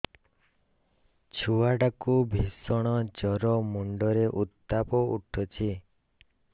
ଛୁଆ ଟା କୁ ଭିଷଣ ଜର ମୁଣ୍ଡ ରେ ଉତ୍ତାପ ଉଠୁଛି